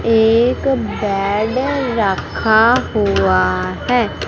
एक बेड रखा हुआ है।